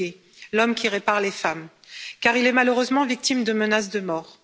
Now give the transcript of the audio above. Mukwege, l'homme qui répare les femmes, car il est malheureusement victime de menaces de mort.